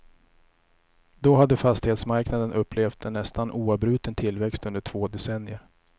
Då hade fastighetsmarknaden upplevt en nästan oavbruten tillväxt under två decennier.